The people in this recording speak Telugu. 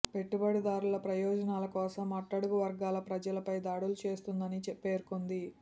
పెట్టుబడిదారుల ప్రయోజనాల కోసం అట్టడుగు వర్గాల ప్రజలపై దాడులు చేస్తోందని పేర్కొంది